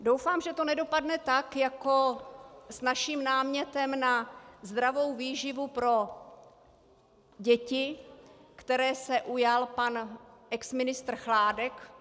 Doufám, že to nedopadne tak jako s naším námětem na zdravou výživu pro děti, které se ujal pan ex ministr Chládek.